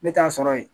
Ne t'a sɔrɔ ye